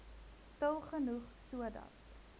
stil genoeg sodat